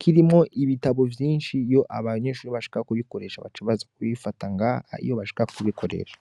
kirimwo ibitabo vyinshi, iyo abanyeshure bashaka kuyikoresha baca baza kubifata ngaha iyo bashaka kubikoresha.